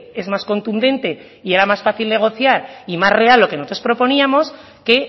es más contundente y era más fácil negociar y más real lo que nosotros proponíamos que